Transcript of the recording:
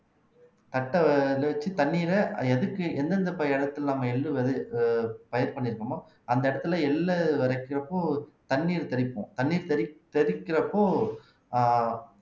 தட்டை இத வச்சு தண்ணீரை எதுக்கு எந்தெந்த ப இடத்துல நாம எள்ளு விதை அஹ் பயிர் பண்ணிருக்கமோ அந்த இடத்துல எள்ளு விதைக்கிறப்போ தண்ணீர் தெளிக்கும் தண்ணீர் தெறி தெறிக்கிறப்போ ஆஹ்